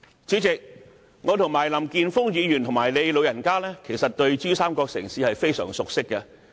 主席，其實我和林健鋒議員，以及你"老人家"，都非常熟悉珠三角城市。